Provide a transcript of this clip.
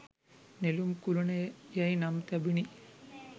නෙළුම් කුළුණ යැයි නම් තැබුණි.